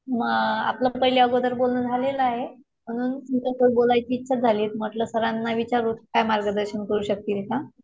आपलं पहिले अगोदर बोलणं झालेलं आहे. म्हणून तुमच्यासोबत बोलायची इच्छा झाली होती. म्हणलं सरांना विचारू काही मार्गदर्शन करू शकतील का.